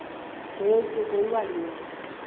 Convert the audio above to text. nje usuku iwalunye